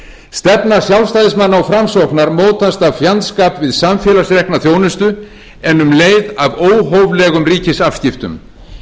stefna sjálfstæðismanna og framsóknarmanna mótast af fjandskap við samfélagsrekna þjónustu en um leið af óhóflegum ríkisafskiptum